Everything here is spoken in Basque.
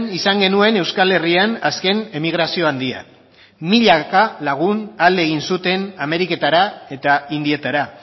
izan genuen euskal herrian azken emigrazioa handia milaka lagun alde egin zuten ameriketara eta indietara